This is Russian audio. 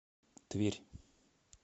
тверь